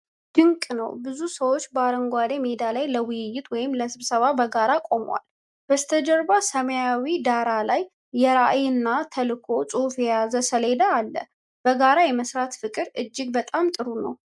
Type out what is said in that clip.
ድንቅ ነው! ብዙ ሰዎች በአረንጓዴ ሜዳ ላይ ለውይይት ወይም ለስብሰባ በጋራ ቆመዋል። በስተጀርባ በሰማያዊ ዳራ ላይ የራዕይ እና ተልዕኮ ጽሑፍ የያዘ ሰሌዳ አለ። በጋራ የመሥራት ፍቅር እጅግ በጣም ጥሩ ነው።